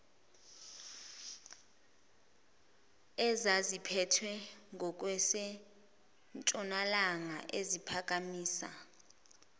ezaziphethwe ngokwasentshonalanga eziphakamisa